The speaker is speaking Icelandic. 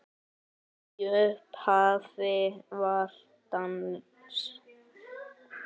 Í upphafi var dans.